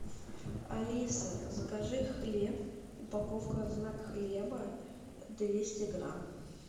алиса закажи хлеб упаковка знак хлеба двести грамм